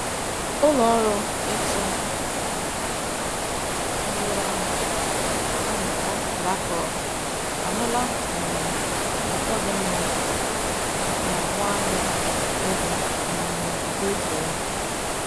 Ụlọọrụ ịtụ mgbere ahụ, ana-kpọ BlackRock, ahụla um uto dị mma n'ọgbọ-ahịa ego um kripto ya.